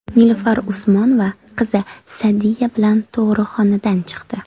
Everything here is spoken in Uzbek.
Nilufar Usmonova qizi Sa’diya bilan tug‘ruqxonadan chiqdi .